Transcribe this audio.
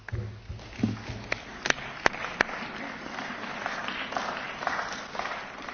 Sollte der Rat bis Donnerstag noch einen entsprechenden Beschluss fassen, können wir am Donnerstag immer noch abstimmen.